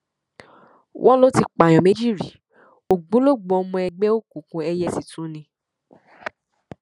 wọn lọ ti pààyàn méjì rí ògbólógbòó ọmọ ẹgbẹ òkùnkùn ẹyẹ sì tún tún ni